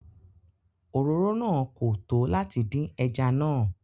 Oròrò náà kò tó látì dìn ẹ̀já náà.